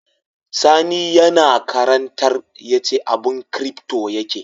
Sani yAna karantar yace abun crypto yake